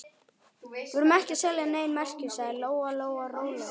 Við erum ekki að selja nein merki, sagði Lóa Lóa rólega.